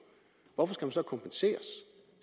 hvorfor skal man så kompenseres